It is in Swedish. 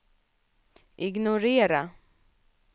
ignorera